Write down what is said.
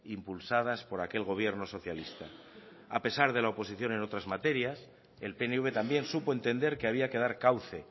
impulsadas por aquel gobierno socialista a pesar de la oposición en otras materias el pnv también supo entender que había que dar cauce